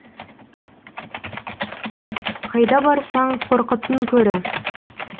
қайда барсаң қорқыттың көрі